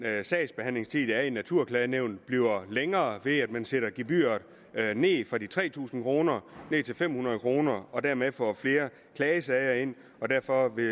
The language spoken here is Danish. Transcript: sagsbehandlingstid der er ved naturklagenævnet bliver længere ved at man sætter gebyret ned fra de tre tusind kroner til de fem hundrede kroner og dermed får flere klagesager ind derfor vil